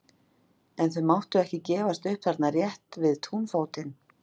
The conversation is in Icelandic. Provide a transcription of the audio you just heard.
En þau máttu ekki gefast upp þarna rétt við túnfótinn.